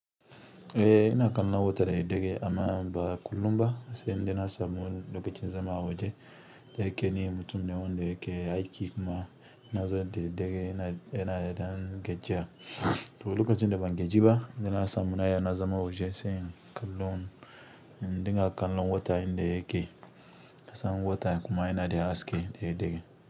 Eh ina kallon wata da daddare amma ba kullum ba sai indai na samu lokacin zama waje. Da yake ne mutum ne wanda yake aiki kuma na zo da daddare ina yana ɗan gajiya. To lokacin da ban gaji ba, ina na samu na ya na zama waje sai kallon, ɗinka kallon watan inda yake. Na samu wata kuma yana da haske dayaddare.